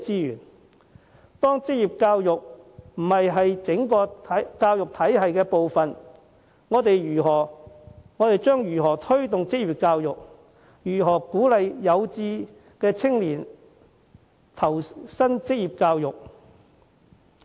如職業教育並非整個教育體系的一部分，我們又如何作出推動，對有志投身職業教育的青年予以鼓勵？